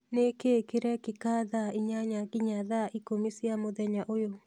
Nĩ kĩĩ kĩrekĩka thaa inyanya nginya thaa ikũmi cia mũthenya ũyũ?